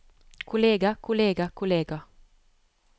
kollega kollega kollega